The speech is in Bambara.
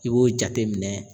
I b'o jateminɛ